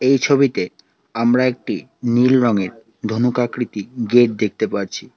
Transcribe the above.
এই ছবিতে আমরা একটি নীল রঙের ধনুক আকৃতি গেট দেখতে পারছি।